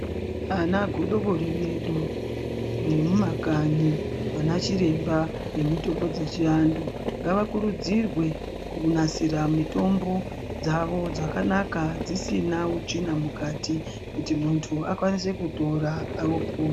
Ana godobori vedu vemumakanyi vana chiremba vemitambo dzechiantu ngavakuridzirwe kunasira mitombo dzavo zvakanaka dzisina utsvina mukati kuti muntu akwanise kutora apone.